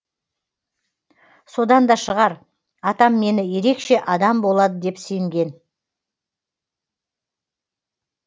содан да шығар атам мені ерекше адам болады деп сенген